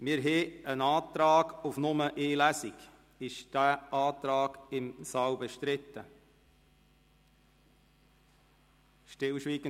Wir haben einen Antrag auf die Durchführung von nur einer einzigen Lesung.